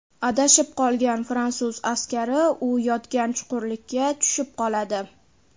Adashib qolgan fransuz askari u yotgan chuqurlikka tushib qoladi.